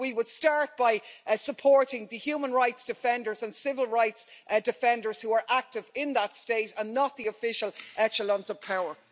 But we should start by supporting the human rights defenders and civil rights defenders who are active in that state, and not the official echelons of power.